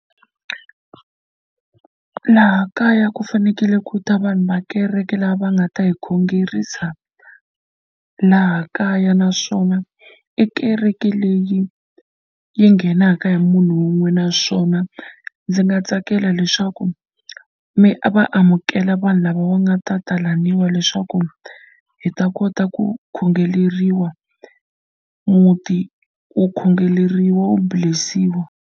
Laha kaya ku fanekele ku ta vanhu va kereke laha va nga ta hi khongerisa laha kaya naswona e kereke leyi yi nghenaka hi munhu wun'we naswona ndzi nga tsakela leswaku mi a va amukela vanhu lava va nga ta ta laniwa leswaku hi ta kota ku khongeleriwa muti ku khongeleriwa wu bless-iwa.